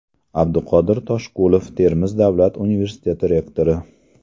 Abduqodir Toshqulov, Termiz davlat universiteti rektori.